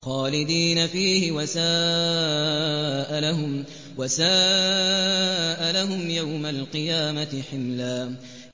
خَالِدِينَ فِيهِ ۖ وَسَاءَ لَهُمْ يَوْمَ الْقِيَامَةِ حِمْلًا